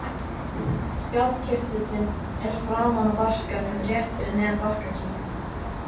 Skjaldkirtillinn er framan á barkanum rétt fyrir neðan barkakýlið.